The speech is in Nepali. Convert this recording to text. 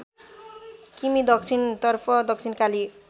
किमि दक्षिणतर्फ दक्षिणकाली